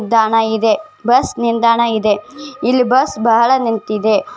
ದಾಣ ಇದೆ ಬಸ್ ನಿಲ್ದಾಣ ಇದೆ ಇಲ್ಲ ಬಸ್‌ ಬಹಳ ನಿಂತಿದೆ .